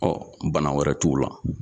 Ɔ bana wɛrɛ t'u la